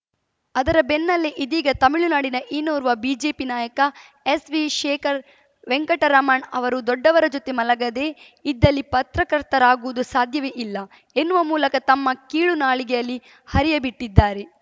ಅದರ ಬೆನ್ನಲ್ಲೇ ಇದೀಗ ತಮಿಳುನಾಡಿನ ಇನ್ನೋರ್ವ ಬಿಜೆಪಿ ನಾಯಕ ಎಸ್‌ವಿ ಶೇಖರ್‌ ವೆಂಕಟರಾಮನ್‌ ಅವರು ದೊಡ್ಡವರ ಜೊತೆ ಮಲಗದೇ ಇದ್ದಲ್ಲಿ ಪತ್ರಕರ್ತರಾಗುವುದು ಸಾಧ್ಯವೇ ಇಲ್ಲ ಎನ್ನುವ ಮೂಲಕ ತಮ್ಮ ಕೀಳು ನಾಲಿಗೆಯಲ್ಲಿ ಹರಿಯಬಿಟ್ಟಿದ್ದಾರೆ